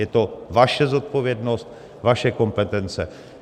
Je to vaše zodpovědnost, vaše kompetence.